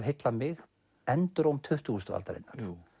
heillað mig enduróm tuttugustu aldarinnar